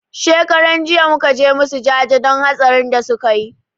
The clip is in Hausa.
Shekaran jiya muka je musu jaje don hatsarin da suka yi